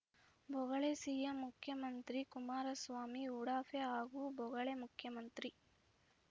ಬೊಗಳೆ CM ಮುಖ್ಯಮಂತ್ರಿ ಕುಮಾರಸ್ವಾಮಿ ಉಡಾಫೆ ಹಾಗೂ ಬೊಗಳೆ ಮುಖ್ಯಮಂತ್ರಿ